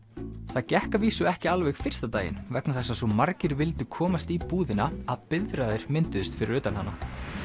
það gekk að vísu ekki alveg fyrsta daginn vegna þess að svo margir vildu komast í búðina að biðraðir mynduðust fyrir utan hana